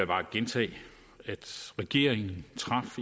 bare gentage at regeringen